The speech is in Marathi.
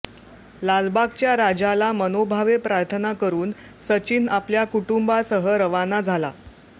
लालबागच्या राजाला मनोभावे प्रार्थना करुन सचिन आपल्या कुटुंबासह रवाना झाला